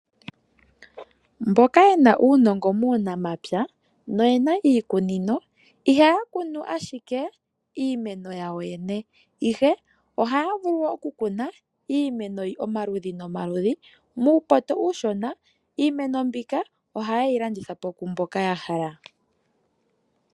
Mboka ye na uunongo muunamapya no ye na iikunino ihaya ku nu ashike yawo yene, ihe ohaya vulu iimeno omaludhi nomaludhi muupoto uushona. Iimeno mbika oha ye yi landitha po kwaamboka ya hala.